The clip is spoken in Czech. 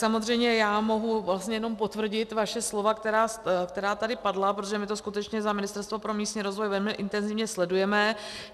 Samozřejmě já mohu vlastně jenom potvrdit vaše slova, která tady padla, protože my to skutečně za Ministerstvo pro místní rozvoj velmi intenzivně sledujeme.